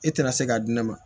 E tɛna se k'a di ne ma